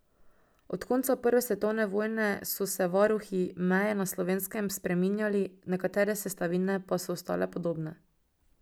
Od konca prve svetovne vojne so se varuhi meje na Slovenskem spreminjali, nekatere sestavine pa so ostale podobne.